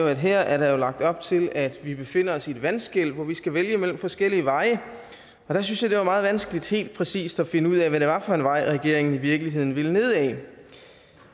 at her er der lagt op til at vi befinder os i et vandskel hvor vi skal vælge mellem forskellige veje og der synes jeg det var meget vanskeligt helt præcis at finde ud af hvad det var for en vej regeringen i virkeligheden ville ned ad